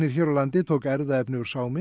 hér á landi tók erfðaefni úr